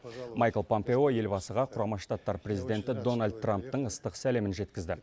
майкл помпео елбасыға құрама штаттар президенті дональд трамптың ыстық сәлемін жеткізді